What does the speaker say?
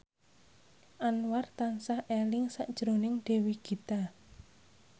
Anwar tansah eling sakjroning Dewi Gita